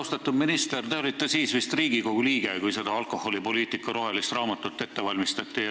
Austatud minister, te olite siis vist Riigikogu liige, kui seda alkoholipoliitika rohelist raamatut ette valmistati.